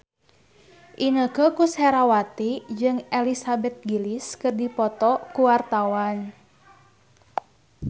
Inneke Koesherawati jeung Elizabeth Gillies keur dipoto ku wartawan